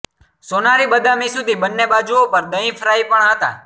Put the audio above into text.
સોનારી બદામી સુધી બંને બાજુઓ પર દહીં ફ્રાય પણ હતા